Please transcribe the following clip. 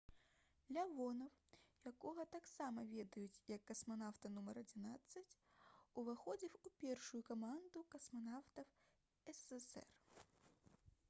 лявонаў якога таксама ведюць як «касманаўта нумар 11» уваходзіў у першую каманду касманаўтаў ссср